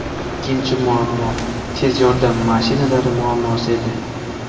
Ikkinchi muammo – tez yordam mashinalari muammosi edi.